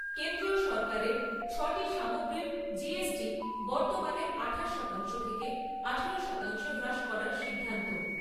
কেন্দ্রীয় সরকারের ছ'টি সামগ্রীর জিএসটি বর্তমানের আঠাশ শতাংশ থেকে আঠারো শতাংশে হ্রাস করার সিদ্ধান্ত।